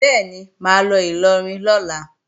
Bẹ́ẹ̀ni, mà á lọ Ìlọrin lọ́la